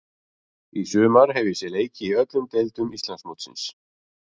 Í sumar hef ég séð leiki í öllum deildum Íslandsmótsins.